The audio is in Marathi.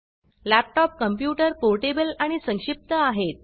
लॅपटॉप कंप्यूटर पोर्टेबल आणि संक्षिप्त आहेत